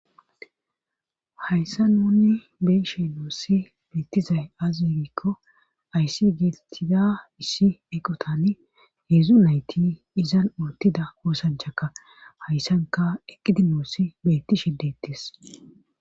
Hayssa nunni beeshe noossi beettizay azigikko ayssi geetettida issi eqotan heedzu nayti izan untida koosanchakka hayssanka eqqidi noossi betti shidettis